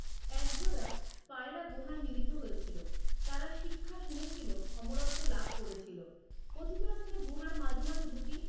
এক জোড়া পায়রা গুহায় মিলিত হয়ে ছিল, তারা শিক্ষা শুনেছিল আমরত্ত লাভ করেছিল, কথিত আছে যে গুহার মাঝে মাঝে দুটি